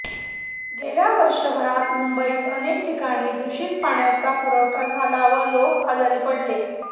गेल्या वर्षभरात मुंबईत अनेक ठिकाणी दूषित पाण्याचा पुरवठा झाला व लोक आजारी पडले